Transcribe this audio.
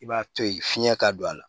I b'a to yen fiɲɛ ka don a la